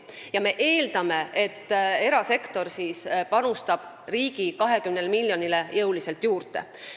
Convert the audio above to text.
Ja me eeldame, et erasektor panustab riigi 20 miljonile jõuliselt juurde.